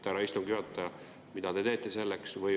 Härra istungi juhataja, mida te teete selleks?